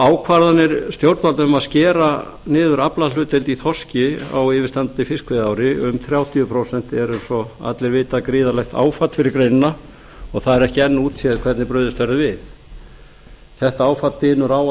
ákvarðanir stjórnvalda um að skera niður aflahlutdeild í þorski á yfirstandandi fiskveiðiári um þrjátíu prósent eru eins og allir vita gríðarlegt áfall fyrir greinina og það er ekki enn útséð hvernig brugðist verður við þetta áfall dynur á á